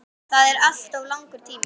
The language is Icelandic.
Það er alltof langur tími.